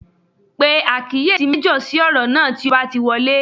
Pe àkíyèsí méjọ̀ sí ọ̀rọ̀ náà tí o bá ti wọlé